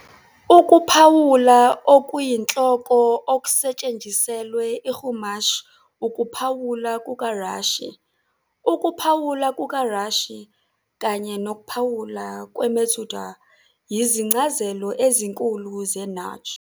Ukuphawula okuyinhloko okusetshenziselwe iChumash ukuphawula kukaRashi. Ukuphawula kukaRashi kanye nokuphawula kweMetzudot yizincazelo ezinkulu zeNach.